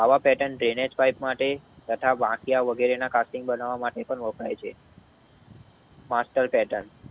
આવા પેર્ટન દેનેજ માટે તથા વાંકિયા વગરના કાતુન બનાવ માટે પણ વપરાય છે. Master pattern